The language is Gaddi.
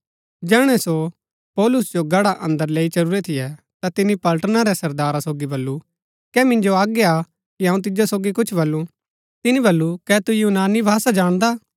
जैहणै सो पौलुस जो गढ़ा अन्दर लैई चलुरै थियै ता तिनी पलटना रै सरदारा सोगी बल्लू कै मिन्जो आज्ञा हा कि अऊँ तिजो सोगी कुछ बलुं तिनी बल्लू कै तु यूनानी भाषा जाणदा